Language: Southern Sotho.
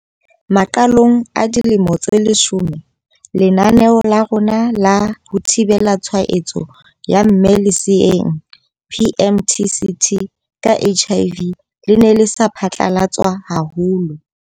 Maqalong a dilemo tse leshome, lenaneo la rona la ho thibela tshwaetso ya mme leseeng, PMTCT, ka HIV le ne le sa phatlalatswa haholo.